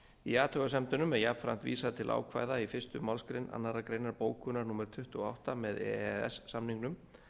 í athugasemdunum er jafnframt vísað til ákvæða í fyrstu málsgrein annarrar greinar bókunar númer tuttugu og átta með e e s samningnum